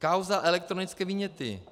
Kauza elektronické viněty.